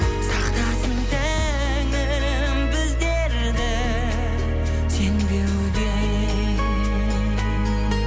сақтасын тәңірім біздерді сенбеуден